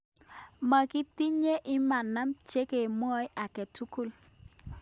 Makitinye imanan chengemwae angetugul.